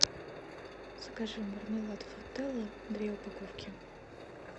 закажи мармелад фрутелла две упаковки